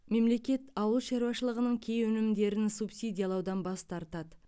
мемлекет ауыл шаруашылығының кей өнімдерін субсидиялаудан бас тартады